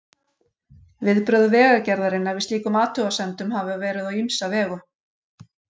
Viðbrögð Vegagerðarinnar við slíkum athugasemdum hafa verið á ýmsa vegu.